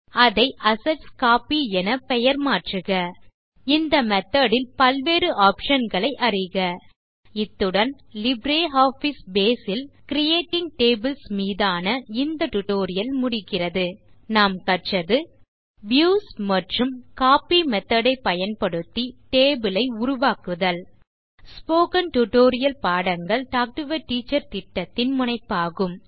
அதை அசெட்ஸ்கோப்பி என பெயர் மாற்றுக இந்த மெத்தோட் ல் பல்வேறு ஆப்ஷன் களை அறிக இத்துடன் லிப்ரியாஃபிஸ் பேஸ் ல் கிரியேட்டிங் டேபிள்ஸ் மீதான இந்த டியூட்டோரியல் முடிகிறது இதில் நாம் கற்றது a வியூஸ் மற்றும் b கோப்பி மெத்தோட் ஐ பயன்படுத்தி டேபிள் ஐ உருவாக்குதல் ஸ்போகன் டுடோரியல் பாடங்கள் டாக் டு எ டீச்சர் திட்டத்தின் முனைப்பாகும்